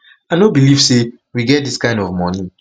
i no believe say we get dis kind of money